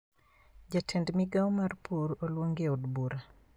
Jatend migao mar pur oluongi e od bura